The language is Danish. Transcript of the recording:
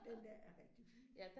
Den der er rigtig fin